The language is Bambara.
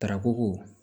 Tarako